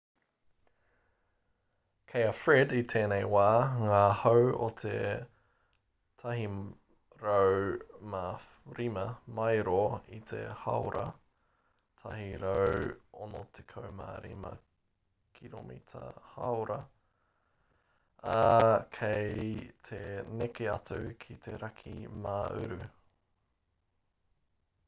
kei a fred i tēnei wā ngā hau o te 105 māero i te hāora 165 km/h ā kei te neke atu ki te raki mā-uru